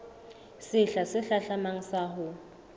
sehla se hlahlamang sa ho